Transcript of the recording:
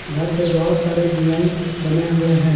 घर पे बहोत सारे डिजाइन बने हुए हैं।